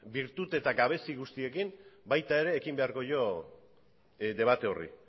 bertute eta gabezi guztiekin baita ere ekin beharko dio debate horri